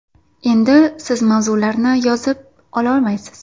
endi siz mavzularni yozib olmaysiz!!!